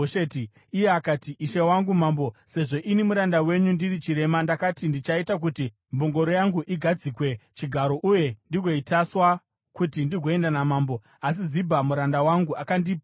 Iye akati, “Ishe wangu mambo, sezvo ini muranda wenyu ndiri chirema, ndakati, ‘Ndichaita kuti mbongoro yangu igadzikwe chigaro uye ndigoitasva, kuti ndigoenda namambo.’ Asi Zibha muranda wangu akandipandukira.